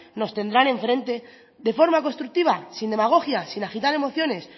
nos tendrán en frente de forma constructiva sin demagogias sin agitar emociones